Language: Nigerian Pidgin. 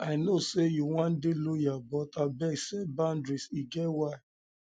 i know sey you wan dey loyal but abeg set boudaries e get why